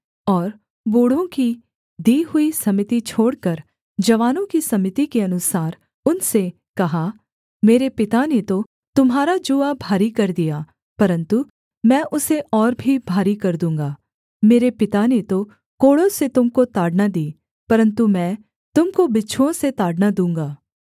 और बूढ़ों की दी हुई सम्मति छोड़कर जवानों की सम्मति के अनुसार उनसे कहा मेरे पिता ने तो तुम्हारा जूआ भारी कर दिया परन्तु मैं उसे और भी भारी कर दूँगा मेरे पिता ने तो कोड़ों से तुम को ताड़ना दी परन्तु मैं तुम को बिच्छुओं से ताड़ना दूँगा